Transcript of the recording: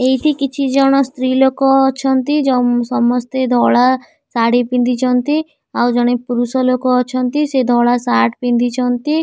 ଏଇଠି କିଛି ଜଣ ସ୍ତ୍ର ଲୋକ ଅଛନ୍ତି ସମସ୍ତ୍ୟ ଧଳା ଶାଢ଼ି ପିନ୍ଧିଛନ୍ତି ଆଉ ଜଣେ ପୁରୁଷ ଲୋକ ଅଛନ୍ତି ସେ ଧଳା ସାର୍ଟ ପିନ୍ଧିଛନ୍ତି।